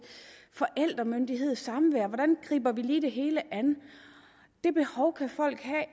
forældremyndighed og samvær hvordan griber vi lige det hele an det behov kan folk have